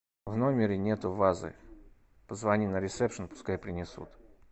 в номере нету вазы позвони на ресепшн пускай принесут